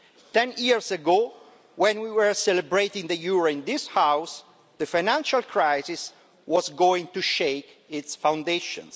Ten years ago, when we were celebrating the euro in this House, the financial crisis was about to shake its foundations.